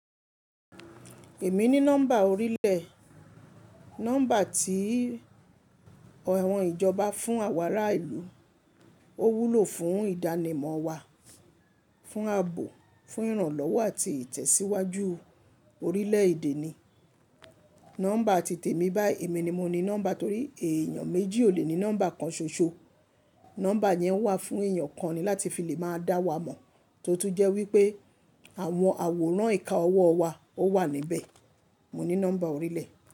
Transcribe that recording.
Èmi ní nọ́mbà orílẹ̀, nọ́mbà tí àwọn ìjọba fún àwọn ará ìlú. Ó wúlò fún ìdánimọ̀ wa, fún ààbò, fún ìrànlọ́wọ́ àti ìtẹ̀síwájú orílẹ̀-èdè ni. Nọ́mbà titẹ̀ mi báyi èmi ni mo ní nọ́mbà torí èèyàn méjì ò lè ní nọ́mbà kan ṣoṣo. Nọ́mbà yẹn wà fún èèyàn kan ni láti fi lè máa dá wa mọ̀, tó tún jẹ́ wípé àwọn àwòrán ìka ọwọ́ wa ó wà níbẹ̀. Mo ní nọ́mbà orílẹ̀